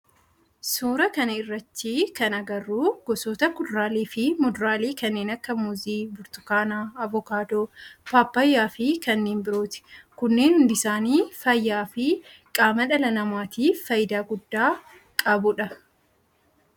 Suuraa kana irratti kan agarru gosoota kuduraalee fi muduraalee kanneen akka muuzii, burtukaana, avokaadoo, paappayyaa fi kannee birooti. Kunneen hundi isaanii fayyaa fi qaama dhala namaatif faayidaa guddaa qabu dha.